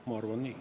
Ma arvan nii.